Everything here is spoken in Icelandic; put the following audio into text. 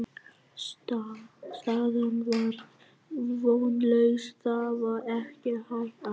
Staðan var vonlaus, það var ekkert hægt að segja.